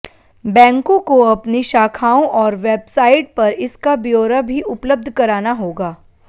बैंकों काे अपनी शाखाओं और वेबसाइट पर इसका ब्योरा भी उपलब्ध कराना होगा